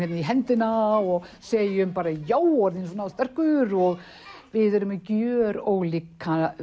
í höndina og segjum já ertu svona sterkur og við erum með gjör ólíkt